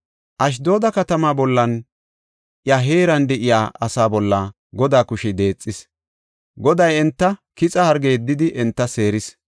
Ashdooda katamaa bollanne iya heeran de7iya asaa bolla Godaa kushey deexis; Goday kixa harge yeddidi enta seeris.